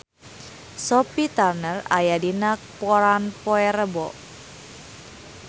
Sophie Turner aya dina koran poe Rebo